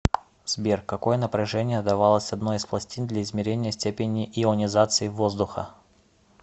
сбер какое напряжение давалось одной из пластин для измерения степени ионизации воздуха